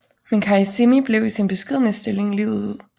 Men Carissimi blev i sin beskedne stilling livet ud